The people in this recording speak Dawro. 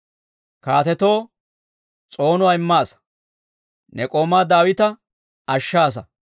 Kaatetoo s'oonuwaa immaasa; ne k'oomaa Daawita ashshaasa.